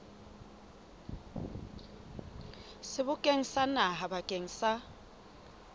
sebokeng sa naha bakeng sa